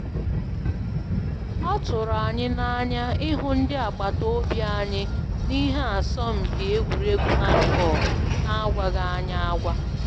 Ọ tụrụ anyị na anya ịhụ ndị agbata obi anyị na ihe asọmpi egwuregwu handball na agwaghị anyị agwa